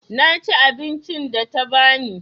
Na ci abincin da ta ba ni.